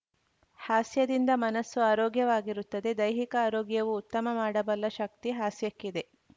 ಹಾಸ್ಯದಿಂದ ಮನಸ್ಸು ಆರೋಗ್ಯವಾಗಿರುತ್ತದೆ ದೈಹಿಕ ಆರೋಗ್ಯವೂ ಉತ್ತಮ ಮಾಡಬಲ್ಲ ಶಕ್ತಿ ಹಾಸ್ಯಕ್ಕಿದೆ